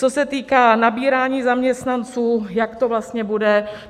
Co se týká nabírání zaměstnanců, jak to vlastně bude.